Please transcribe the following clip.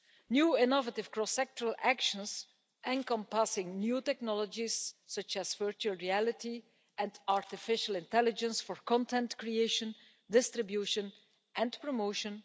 new innovative cross-sectoral actions, encompassing new technologies such as virtual reality and artificial intelligence for content creation, distribution and promotion